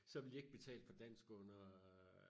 så vil de ikke betale for dansk under øh